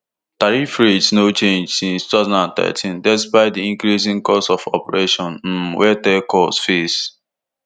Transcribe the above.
tariff rates no change since two thousand and thirteen despite di increasing costs of operation um wey telcos face